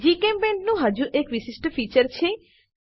જીચેમ્પેઇન્ટ નું હજુ એક વિશિષ્ટ ફીચર છે